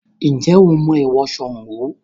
Ǹjẹ́ o mọ èèwọ̀ Sango?